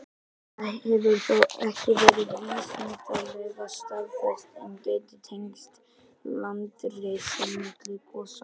Það hefur þó ekki verið vísindalega staðfest, en gæti tengst landrisi milli gosa.